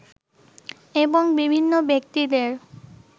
এবং বিভিন্ন ব্যক্তিদের